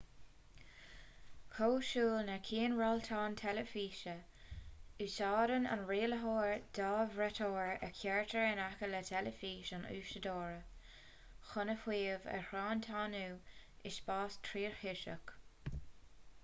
cosúil le cianrialtán teilifíse úsáideann an rialaitheoir dhá bhraiteoir a chuirtear in aice le teilifís an úsáideora chun a shuíomh a thriantánú i spás tríthoiseach